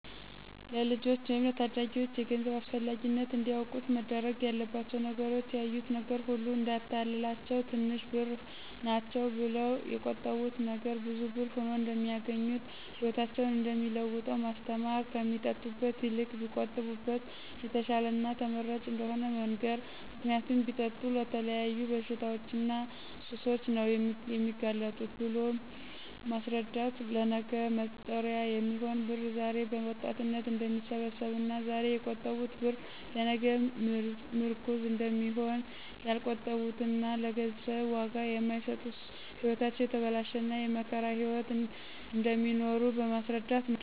ለልጆች ወይም ለታዳጊዎች የገንዘብ አስፈላጊነት እንዲያውቁት መደረግ ያለባቸው ነገሮች ያዩት ነገር ሁሉ እዳያታልላቸው ትንሽ ብር ናቸው ብለው የቆጠቡት ነገ ብዙ ብር ሁኖ እደሚያገኙት ህይወታቸውን እደሚለውጠው ማስተማር ከሚጠጡበት ይልቅ ቢቆጥቡበት የተሻለና ተመራጭ እደሆነ መንገር ምክንያቱም ቢጠጡ ለተለያዩ በሽታዎችና ሱሶች ነው የሚጋለጡት ብሎ ማስረዳት ለነገ መጦሪያ የሚሆን ብር ዛሬ በወጣትነት እደሚሰበሰብና ዛሬ የቆጠቡት ብር ለነገ ምርኩዝ እደሚሆን ያልቆጠቡትና ለገንዘብ ዋጋ የማይሰጡት ህይወታቸው የተበላሸና የመከራ ህይዎት እደሚኖሩ በማስረዳት ነው።